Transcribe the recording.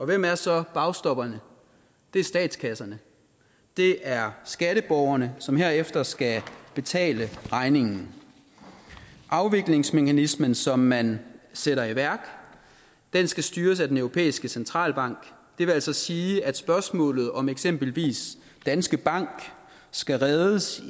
hvem er så bagstopperne det er statskasserne det er skatteborgerne som herefter skal betale regningen afviklingsmekanismen som man sætter i værk skal styres af den europæiske centralbank det vil altså sige at spørgsmålet om om eksempelvis danske bank skal reddes